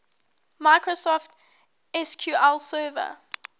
microsoft sql server